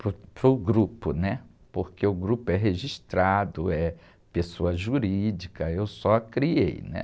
para o, para o grupo, né? Porque o grupo é registrado, é pessoa jurídica, eu só criei, né?